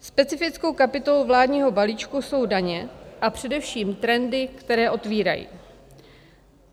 Specifickou kapitolou vládního balíčku jsou daně a především trendy, které otvírají.